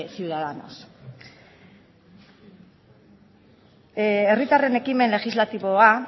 ciudadanos herritarren ekimen legislatiboa